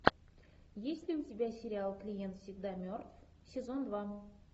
есть ли у тебя сериал клиент всегда мертв сезон два